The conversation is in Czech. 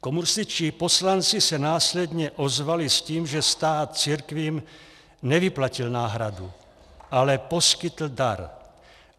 Komunističtí poslanci se následně ozvali s tím, že stát církvím nevyplatil náhradu, ale poskytl dar.